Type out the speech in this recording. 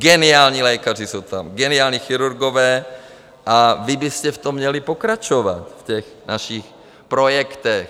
Geniální lékaři jsou tam, geniální chirurgové, a vy byste v tom měli pokračovat, v těch našich projektech.